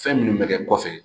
Fɛn minnu bɛ kɛ kɔfɛ